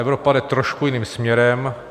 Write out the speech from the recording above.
Evropa jde trošku jiným směrem.